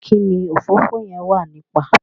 kíni òfófó yen wà nípa?